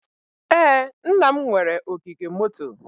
Ee, nna m nwere ogige moto.